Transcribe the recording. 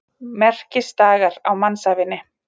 Merkisdagar á mannsævinni.